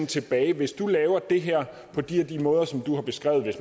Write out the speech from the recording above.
tilbage hvis du laver det her på de og de måder som du har beskrevet